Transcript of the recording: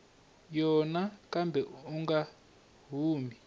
yona kambe u nga humi